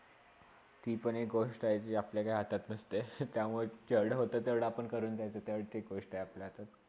ती पण एक गोष्टा आहे जी आपल्याकडे हातात नासते त्यामुळे जेवडा होते तेवडा आपण करून जायाचे गोष्ट आपल्याहातात